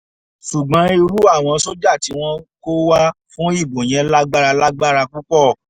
ṣùgbọ́n irú àwọn sójà tí wọ́n kó wá fún ìbò yẹn lágbára lágbára púpọ̀